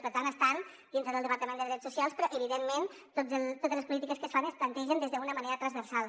per tant estan dintre del departament de drets socials però evidentment totes les po·lítiques que es fan es plantegen d’una manera transversal